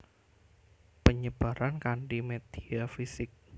Penyebaran kanti media fisik